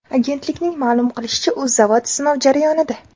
Agentlikning ma’lum qilishicha, u zavod sinov jarayonida.